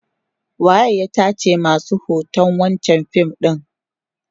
waye ya tace masu hoton wancan fim ɗin?